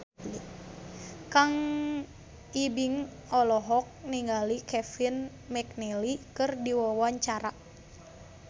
Kang Ibing olohok ningali Kevin McNally keur diwawancara